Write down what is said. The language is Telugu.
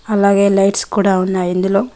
అలాగే లైట్స్ కూడా ఉన్నాయి ఇందులో.